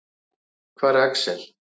Hvar er Axel?